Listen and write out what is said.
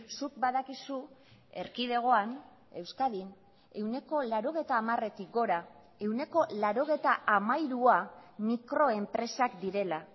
zuk badakizu erkidegoan euskadin ehuneko laurogeita hamaretik gora ehuneko laurogeita hamairua mikroenpresak direla